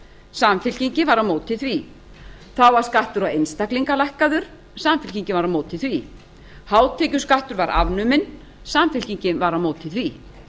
samfylkingin var á móti því þá var skattur á einstaklinga lækkaður samfylkingin var á móti því hátekjuskattur var afnuminn samfylkingin var á móti því